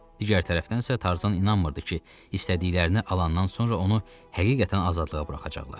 Digər tərəfdənsə, Tarzan inanmırdı ki, istədiklərini alandan sonra onu həqiqətən azadlığa buraxacaqlar.